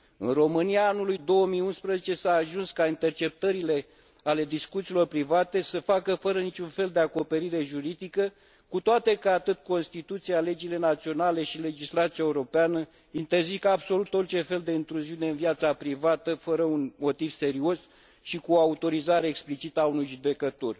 În România anului 2011 s a ajuns ca interceptările discuțiilor private să se facă fără niciun fel de acoperire juridică, cu toate că atât constituția, cât și legile naționale și legislația europeană interzic absolut orice fel de intruziune în viața privată fără un motiv serios și cu autorizare explicită a unui judecător.